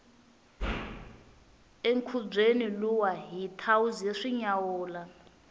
enkhubyeni luwa hi thawuze swi nyawula